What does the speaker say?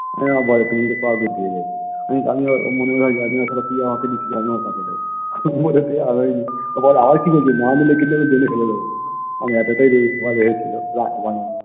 ও আমাকে বলে তুমি যা দিয়ে দেবো আমি আবার মনে মনে ভাবি জানিনা শালা তুই আমাকে দিছিস আমি আবার কাকে দিবো আমি আর একটু রাগাই নি ও বলে কি বলছো না নিলে কিন্তু আমি drain এ ফেলে দিবো মানে এতোটাই রেগে গেছিলো